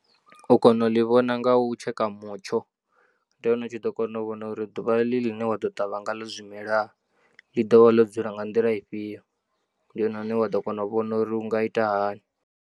U kona u ḽi vhona nga u tsheka mutsho ndi hone u tshi ḓo kona u vhona uri ḓuvha iḽi ḽine wa ḓo ṱavha ngaḽo zwimela ḽi ḓo vha ḽo dzula nga nḓila ifhio ndi hone hune wa ḓo kona u vhona uri u nga ita hani.